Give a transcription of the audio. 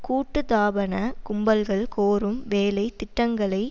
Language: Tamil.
கூட்டு தாபன கும்பல்கள் கோரும் வேலை திட்டங்களை